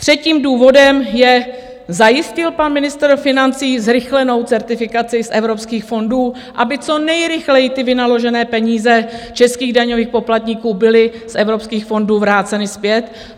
Třetím důvodem je: Zajistil pan ministr financí zrychlenou certifikaci z evropských fondů, aby co nejrychleji ty vynaložené peníze českých daňových poplatníků byly z evropských fondů vráceny zpět?